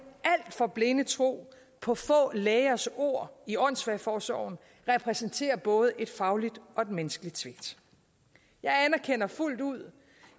alt for blinde tro på få lægers ord i åndssvageforsorgen repræsenterer både et fagligt og et menneskeligt svigt jeg anerkender fuldt ud